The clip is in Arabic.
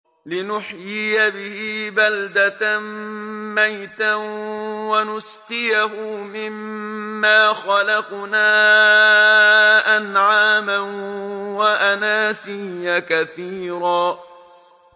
لِّنُحْيِيَ بِهِ بَلْدَةً مَّيْتًا وَنُسْقِيَهُ مِمَّا خَلَقْنَا أَنْعَامًا وَأَنَاسِيَّ كَثِيرًا